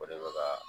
O de bɛ ka